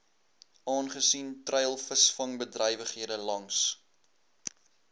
aangesien treilvisvangbedrywighede langs